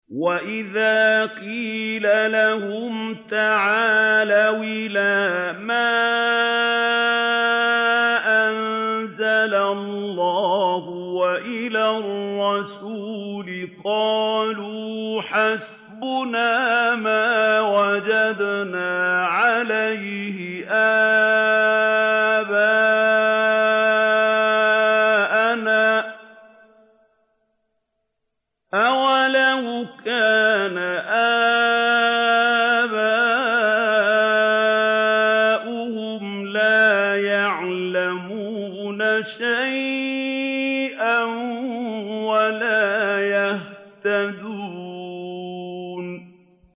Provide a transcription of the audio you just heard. وَإِذَا قِيلَ لَهُمْ تَعَالَوْا إِلَىٰ مَا أَنزَلَ اللَّهُ وَإِلَى الرَّسُولِ قَالُوا حَسْبُنَا مَا وَجَدْنَا عَلَيْهِ آبَاءَنَا ۚ أَوَلَوْ كَانَ آبَاؤُهُمْ لَا يَعْلَمُونَ شَيْئًا وَلَا يَهْتَدُونَ